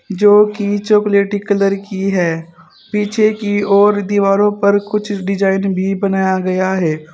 जो कि चॉकलेटी कलर की है पीछे की ओर दीवारों पर कुछ डिजाइन भी बनाया गया है।